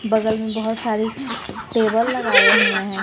बगल में बहुत सारी टेबल लगाए हुए हैं।